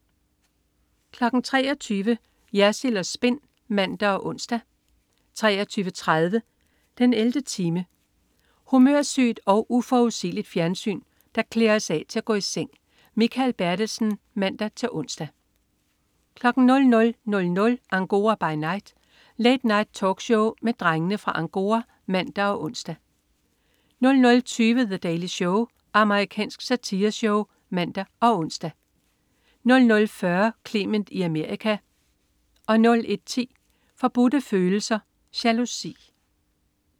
23.00 Jersild & Spin (man og ons) 23.30 den 11. time. Humørsygt og uforudsigeligt fjernsyn, der klæder os af til at gå i seng. Mikael Bertelsen (man-ons) 00.00 Angora by Night. Late Night-talkshow med Drengene fra Angora (man og ons) 00.20 The Daily Show. Amerikansk satireshow (man og ons) 00.40 Clement i Amerika 01.10 Forbudte Følelser. Jalousi